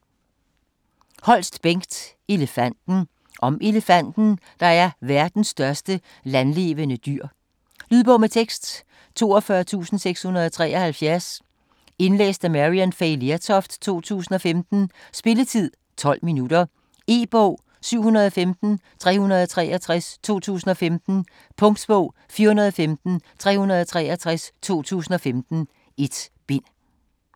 Holst, Bengt: Elefanten Om elefanten, der er verdens største landlevende dyr. Lydbog med tekst 42673 Indlæst af Maryann Fay Lertoft, 2015. Spilletid: 0 timer, 12 minutter. E-bog 715363 2015. Punktbog 415363 2015. 1 bind.